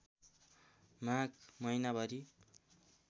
माघ महिनाभरि